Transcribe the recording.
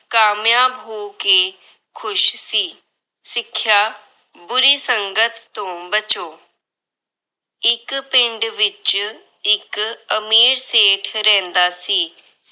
ਕਾਮਯਾਬ ਹੋ ਕੇ ਖੁਸ਼ ਸੀ। ਸਿੱਖਿਆ- ਬੁਰੀ ਸੰਗਤ ਤੋਂ ਬਚੋ। ਇੱਕ ਪਿੰਡ ਵਿੱਚ ਇੱਕ ਅਮੀਰ ਸੇਠ ਰਹਿੰਦਾ ਸੀ।